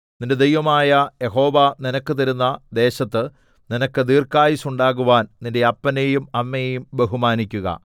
നിന്റെ ദൈവമായ യഹോവ നിനക്ക് തരുന്ന ദേശത്ത് നിനക്ക് ദീർഘായുസ്സുണ്ടാകുവാൻ നിന്റെ അപ്പനെയും അമ്മയെയും ബഹുമാനിക്കുക